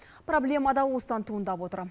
проблема да осыдан туындап отыр